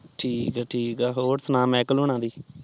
ਠੀਕ ਆ ਠੀਕ ਆ ਹੋਰ ਸੁਣਾ ਮਿਕਲੇ ਓਹਨਾ